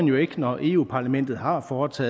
jo ikke når europa parlamentet har gjort